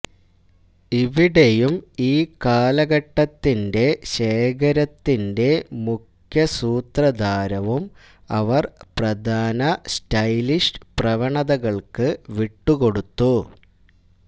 ഇവിടെയും ഈ കാലഘട്ടത്തിന്റെ ശേഖരത്തിന്റെ മുഖ്യസൂത്രധാരവും അവർ പ്രധാന സ്റ്റൈലിഷ് പ്രവണതകൾക്ക് വിട്ടുകൊടുത്തു